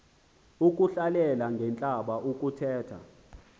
ukuhlalela ngentlamba ukuthetha